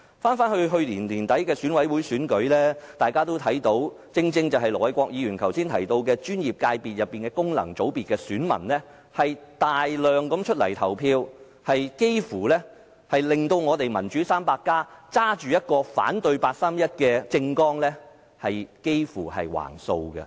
回顧去年年底的選舉委員會選舉，大家都看到的，正正是盧偉國議員剛才提到的專業界別、功能界別的選民踴躍投票，有關界別的議席幾乎被手持"反對八三一決定"政綱的"民主 300+" 囊括。